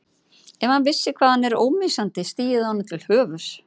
Ef hann vissi hvað hann er ómissandi stigi það honum til höfuðs.